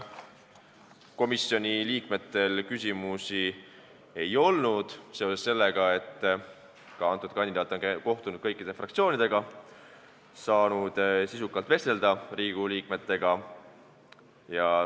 Komisjoni liikmetel küsimusi ei olnud, seda seetõttu, et kandidaat on kohtunud kõikide fraktsioonidega ja saanud Riigikogu liikmetega sisukalt vestelda.